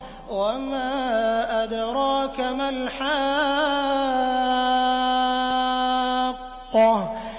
وَمَا أَدْرَاكَ مَا الْحَاقَّةُ